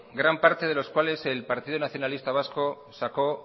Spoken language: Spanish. gran parte de los cuales el partido nacionalista vasco sacó